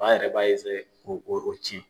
Ba yɛrɛ b'a ko o cin.